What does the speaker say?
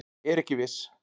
Er ekki viss